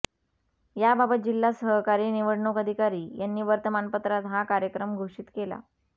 याबाबत जिल्हा सहकारी निवडणूक अधिकारी यांनी वर्तमानपत्रात हा कार्यक्रम घोषित केला